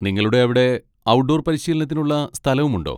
നിങ്ങളുടെ അവിടെ ഔട്ട്ഡോർ പരിശീലനത്തിനുള്ള സ്ഥലവും ഉണ്ടോ?